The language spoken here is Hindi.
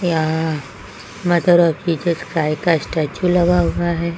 यहां मदर ऑफ जीसस का स्टैचू लगा हुआ है।